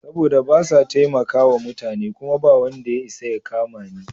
Saboda basa taimakawa mutane kuma bawanda ya isa ya kamani.